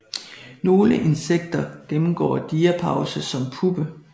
Nogle insekter gennemgår diapause som puppe